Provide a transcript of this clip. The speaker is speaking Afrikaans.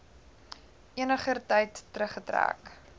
eniger tyd teruggetrek